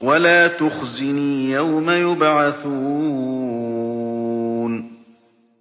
وَلَا تُخْزِنِي يَوْمَ يُبْعَثُونَ